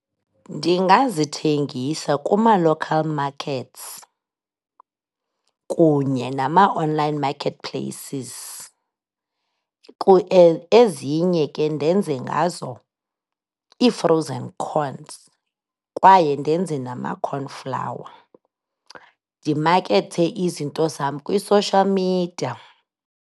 Ndingazithengisa kuma-local markets kunye nama-online marketplaces. Ezinye ke ndenze ngazo ii-frozen corns kwaye ndenze nama-cornflour. Ndimakethe izinto zam kwi-social media.